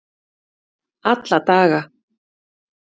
alla daga